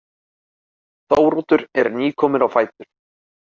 Þóroddur er nýkominn á fætur.